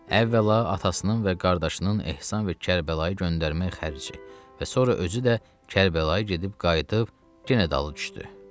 Əvvəla, atasının və qardaşının ehsan və Kərbəlayı göndərmək xərci və sonra özü də Kərbəlayı gedib qayıdıb, yenə dalı düşdü.